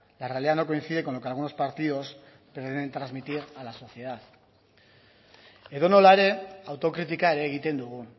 la realidad no coincide con lo que algunos partidos quieren transmitir a la sociedad edonola ere autokritika ere egiten dugu